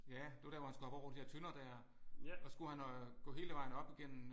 Ja det var der hvor han skulle hoppe over de der tønder der og skulle han øh gå hele vejen op igennem